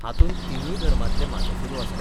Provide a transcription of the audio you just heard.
हातूंत तिनूय धर्मांतले माथेफिरू आसात.